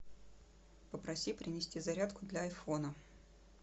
попроси принести зарядку для айфона